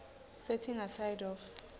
setting aside of